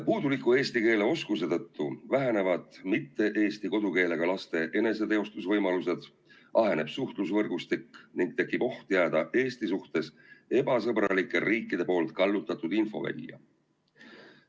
Puuduliku eesti keele oskuse tõttu vähenevad mitte eesti kodukeelega laste eneseteostusvõimalused, aheneb suhtlusvõrgustik ning tekib oht jääda Eesti suhtes ebasõbralike riikide poolt kallutatud infovälja.